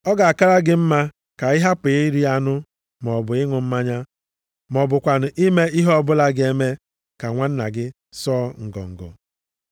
Ọ ga-akara gị mma ka ị hapụ iri anụ maọbụ ịṅụ mmanya ma ọ bụkwanụ ime ihe ọbụla ga-eme ka nwanna gị sụọ ngọngọ.